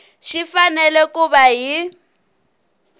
xi fanele ku va hi